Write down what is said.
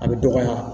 A bɛ dɔgɔya